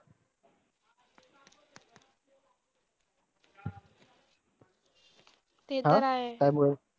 ते तर आहेच!